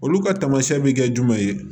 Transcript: Olu ka taamasiyɛn bi kɛ jumɛn ye